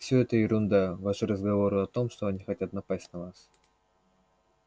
все это ерунда ваши разговоры о том что они хотят напасть на нас